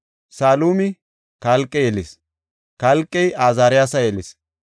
Salumi Kalqe yelis; Kalqey Azaariyasa yelis;